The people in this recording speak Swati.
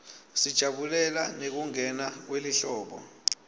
sijabulela nekungena kwelihlobo